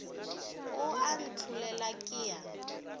o a ntlholela ke a